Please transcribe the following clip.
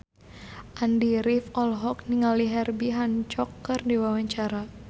Andy rif olohok ningali Herbie Hancock keur diwawancara